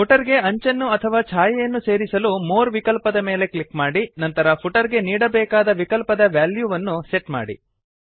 footer ಗೆ ಅಂಚನ್ನು ಅಥವಾ ಛಾಯೆಯನ್ನು ಸೇರಿಸಲು ಮೋರ್ ವಿಕಲ್ಪದ ಮೇಲೆ ಕ್ಲಿಕ್ ಮಾಡಿ ನಂತರ ಫುಟರ್ ಗೆ ನೀಡಾಬೇಕಾದ ವಿಕಲ್ಪದ ವ್ಯಾಲ್ಯೂವನ್ನು ಸೆಟ್ ಮಾಡಿ